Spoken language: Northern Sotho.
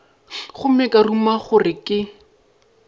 gomme ka ruma gore ke